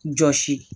Jɔsi